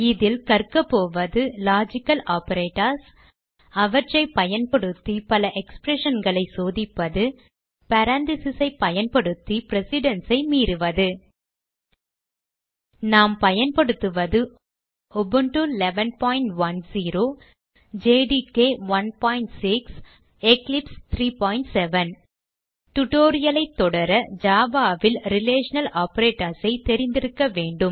இதில் கற்கபோவது logical operators அவற்றை பயன்படுத்தி பல expression களை சோதிப்பது parentheses ஐ பயன்படுத்தி precedence ஐ மீறுவது நாம் பயன்படுத்துவது உபுண்டு 1110 ஜேடிகே 16 மற்றும் எக்லிப்ஸ் 37 tutorial ஐ தொடர Java ல் ரிலேஷனல் ஆப்பரேட்டர்ஸ் ஐ தெரிந்திருக்க வேண்டும்